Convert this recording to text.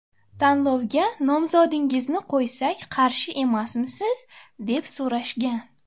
Tanlovga nomzodingizni qo‘ysak qarshi emasmisiz, deb so‘rashgan.